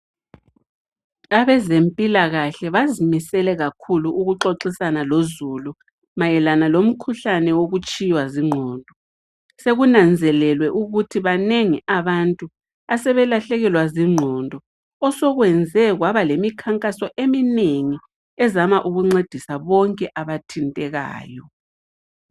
Abazempilakahle bazimisele kakhulu ukuxoxisana lozulu mayelana lomkhuhlane wokutshiywa zingqondo sekunanzelelwe ukuthi banengi abantu asebelahlekelwa zingqondo osekwenze kwabalemikhankaso eminengi ezama ukuncedisa bonke abathintekayo